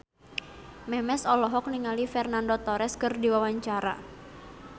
Memes olohok ningali Fernando Torres keur diwawancara